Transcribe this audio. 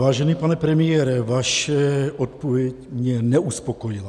Vážený pane premiére, vaše odpověď mě neuspokojila.